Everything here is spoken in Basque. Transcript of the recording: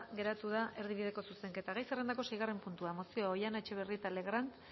geratu da erdibideko zuzenketa gai zerrendako seigarren puntua mozioa oihana etxebarrieta legrand